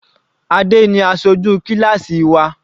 Adé ni aṣojú kíláásì wa.